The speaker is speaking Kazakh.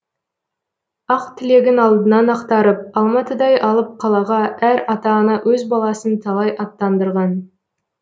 ақ тілегін алдынан ақтарып алматыдай алып қалаға әр ата ана өз баласын талай аттандырған